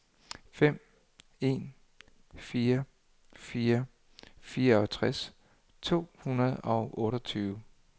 fem en fire fire fireogtres to hundrede og otteogtyve